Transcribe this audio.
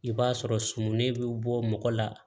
I b'a sɔrɔ sumuni bɛ bɔ mɔgɔ la